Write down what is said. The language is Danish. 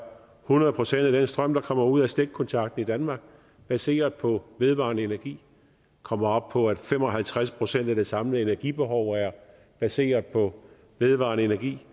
hundrede procent af den strøm der kommer ud af stikkontakten i danmark baseret på vedvarende energi vi kommer op på at fem og halvtreds procent af det samlede energibehov er baseret på vedvarende energi